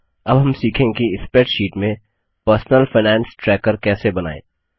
अब हम सीखेंगे कि स्प्रैडशीट में पर्सनल फाइनेंस ट्रैकर कैसे बनाएँ